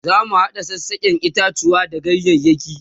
zamu hada sassaken itatuwa da ganyayaki